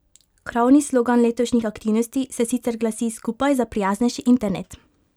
Krovni slogan letošnjih aktivnosti se sicer glasi Skupaj za prijaznejši internet!